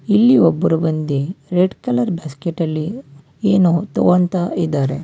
ಇಲ್ಲಿ ಒಬ್ರು ಬಂದಿ ರೆಡ್ ಕಲರ್ ಬಾಸ್ಕೆಟ್ ಅಲ್ಲಿ ಏನೋ ತಗೋಂತಾ ಇದಾರೆ.